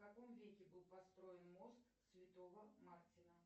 в каком веке был построен мост святого мартина